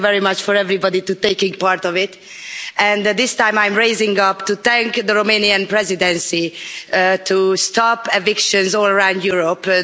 Thank you very much to everybody for taking part in it and this time I'm rising up to thank the Romanian Presidency for seeking to stop evictions all around Europe.